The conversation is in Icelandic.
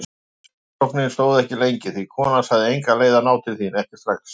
Heimsóknin stóð ekki lengi því konan sagði enga leið að ná til þín, ekki strax.